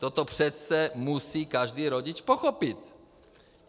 Toto přece musí každý rodič pochopit!